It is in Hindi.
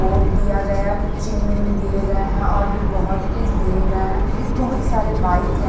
बोर्ड दिया गया कुछ चीनून दिए गए हैं और भी बहुत कुछ दिए गए हैं बहुत सारे बाइक ।